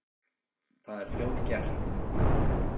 Það er fljótgert.